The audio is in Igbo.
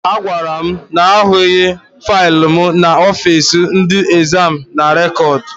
Ha gwara m na ha ahụghị faịlụ m n'ọfiisi ndị ezam na rekọd.